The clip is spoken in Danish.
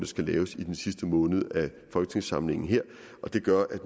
skal laves i den sidste måned af folketingssamlingen her og det gør at